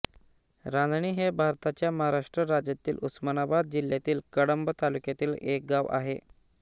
रांजणी हे भारताच्या महाराष्ट्र राज्यातील उस्मानाबाद जिल्ह्यातील कळंब तालुक्यातील एक गाव आहे